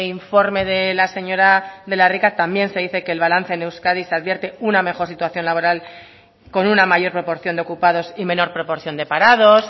informe de la señora de la rica también se dice que el balance en euskadi se advierte una mejor situación laboral con una mayor proporción de ocupados y menor proporción de parados